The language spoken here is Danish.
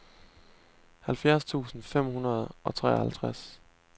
halvfjerds tusind fem hundrede og treoghalvtreds